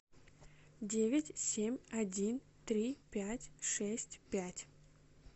девять семь один три пять шесть пять